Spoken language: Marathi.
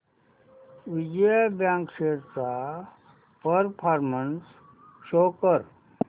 विजया बँक शेअर्स चा परफॉर्मन्स शो कर